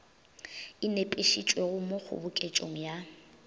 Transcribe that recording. e nepišitšwego mo kgoboketšong ya